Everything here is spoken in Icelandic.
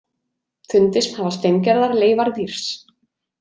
Fundist hafa steingerðar leifar dýrs.